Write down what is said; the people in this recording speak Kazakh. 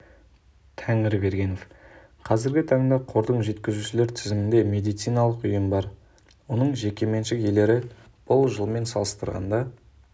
тәңірбергенов қазіргі таңда қордың жеткізушілер тізімінде медициналық ұйым бар оның жекеменшік иелері бұл жылмен салыстырғанда